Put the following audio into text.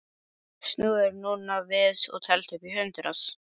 Snúðu þér núna við og teldu upp í hundrað.